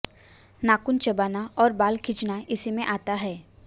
नाखून चबाना और बाल खींचना इसी में आता है